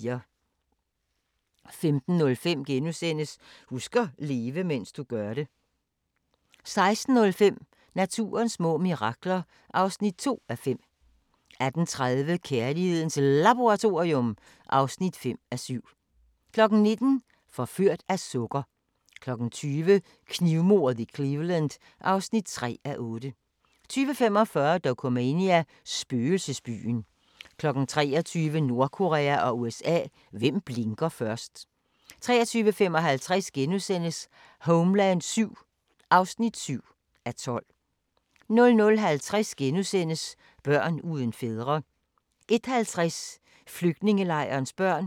15:05: Husk at leve, mens du gør det * 16:05: Naturens små mirakler (2:5) 18:30: Kærlighedens Laboratorium (5:7) 19:00: Forført af sukker 20:00: Knivmordet i Cleveland (3:8) 20:45: Dokumania: Spøgelsesbyen 23:00: Nordkorea og USA – hvem blinker først? 23:55: Homeland VII (7:12)* 00:50: Børn uden fædre * 01:50: Flygtningelejrenes børn